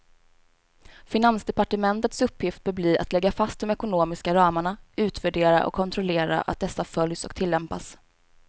Finansdepartementets uppgift bör bli att lägga fast de ekonomiska ramarna, utvärdera och kontrollera att dessa följs och tillämpas.